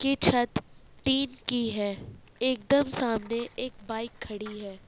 ये छत टीन की हैं एक दम सामने एक बाइक खड़ी है।